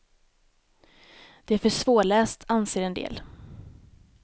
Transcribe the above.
Det är för svårläst anser en del.